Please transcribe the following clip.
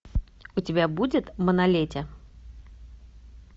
у тебя будет манолете